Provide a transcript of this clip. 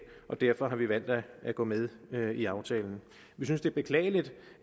og derfor har vi valgt at gå med med i aftalen vi synes det er beklageligt